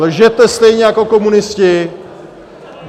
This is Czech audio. Lžete stejně jako komunisti!